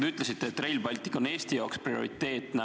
Te ütlesite, et Rail Baltic on Eesti jaoks prioriteetne.